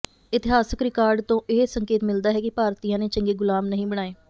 ਇਤਿਹਾਸਕ ਰਿਕਾਰਡ ਤੋਂ ਇਹ ਸੰਕੇਤ ਮਿਲਦਾ ਹੈ ਕਿ ਭਾਰਤੀਆਂ ਨੇ ਚੰਗੇ ਗੁਲਾਮ ਨਹੀਂ ਬਣਾਏ